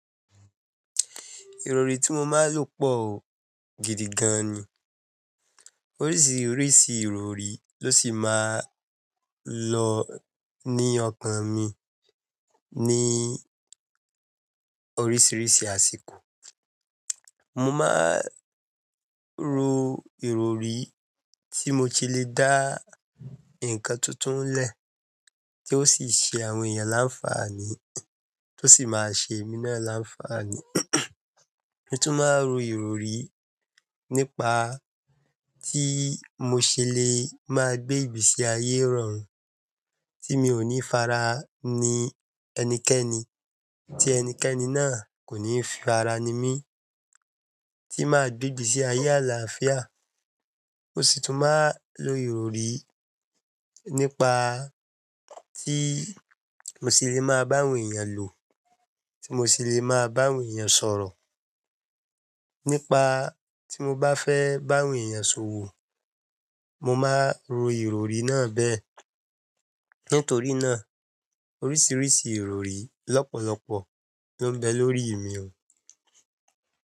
Ìrọrí tí mo máa ń lò pọ̀ o gidi gan ni. Oríṣiríṣi ìrọrí ló sì máa ń lọ ní ọkàn mi ní oríṣiríṣi àsìkò. Mo máa ń ro ìrọrí tí mo ti le dá ǹkan tuntun lè, tí ó sì ṣe àwọn èèyàn láńfààní, tó sì máa ṣe èmi náà láńfààní. Mo tún máa ń ro ìrọrí nípa tí mo ṣe le máa gbé ibi sí ayé rọrùn, tí mi ò ní fara ní ẹnikẹ́ni, tí ẹnikẹ́ni náà kò ní fara ní mi, tí máa dọdú sí ayé àlàáfíà. Mo sì tún máa ń lo ìrọrí nípa tí mo ṣe le máa bá àwọn èèyàn lò, tí mo ṣe le máa bá àwọn èèyàn sọ̀rọ̀. Nípa tí mo bá fẹ́ bá àwọn èèyàn sọ̀wọ̀, mo máa ro ìrọrí náà bẹ́ẹ̀. Nítorí náà, oríṣiríṣi ìrọrí lọ́pọ̀lọpọ̀ ló ń bẹ lórí mi o.